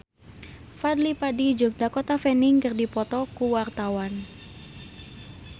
Fadly Padi jeung Dakota Fanning keur dipoto ku wartawan